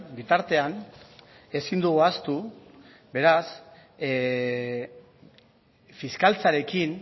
bitartean ezin dugu ahaztu beraz fiskaltzarekin